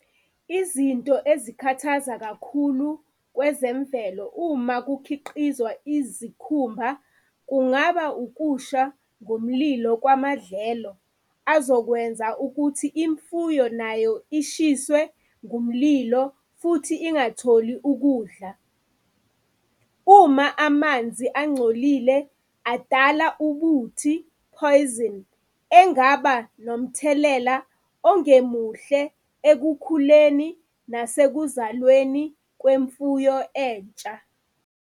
Izinto ezikhathaza kakhulu kwezemvelo uma kukhiqizwa izikhumba, kungaba ukusha ngomlilo kwamadlelo azokwenza ukuthi imfuyo nayo ishiswe ngomlilo, futhi ingatholi ukudla. Uma amanzi angcolile adala ubuthi, poison, engaba nomthelela ongemuhle ekukhuleni nasekuzalweni kwemfuyo entsha.